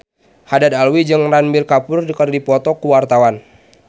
Haddad Alwi jeung Ranbir Kapoor keur dipoto ku wartawan